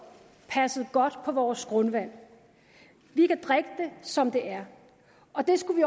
passet godt på vores grundvand vi kan drikke det som det er og det skulle vi